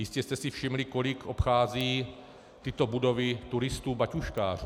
Jistě jste si všimli, kolik obchází tyto budovy turistů batůžkářů.